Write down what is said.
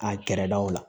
A kɛrɛdaw la